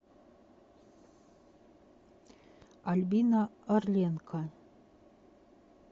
альбина орленко